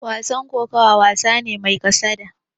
Wasan kokawa, wasa ne mai kasada.